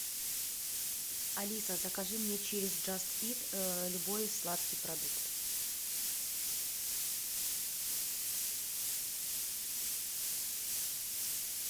алиса закажи мне через джаст ит любой сладкий продукт